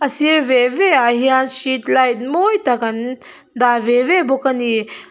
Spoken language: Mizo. sir ve velah hian street light mawi tak an dah ve ve bawk a ni.